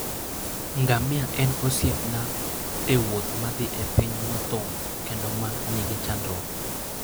Ngamia en osiepna e wuoth madhi e piny mothung ' kendo ma nigi chandruok.